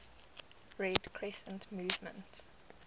red crescent movement